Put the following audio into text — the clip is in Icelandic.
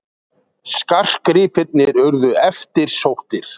Skartgripirnir urðu eftirsóttir.